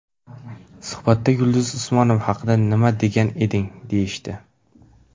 Suhbatda Yulduz Usmonova haqida nima degan eding?’ deyishdi.